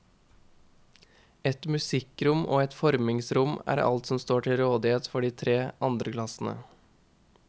Et musikkrom og et formingsrom er alt som står til rådighet for de tre andreklassene.